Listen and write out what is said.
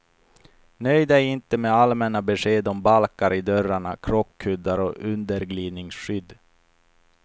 Nöj dig inte med allmänna besked om balkar i dörrarna, krockkuddar och underglidningsskydd.